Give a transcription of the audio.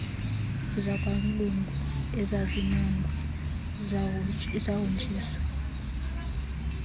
zakwamlungu ezazinongwe zahonjiswa